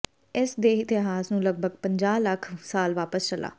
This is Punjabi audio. ਇਸ ਦੇ ਇਤਿਹਾਸ ਨੂੰ ਲਗਭਗ ਪੰਜਾਹ ਲੱਖ ਸਾਲ ਵਾਪਸ ਚਲਾ